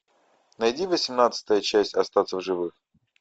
найди восемнадцатая часть остаться в живых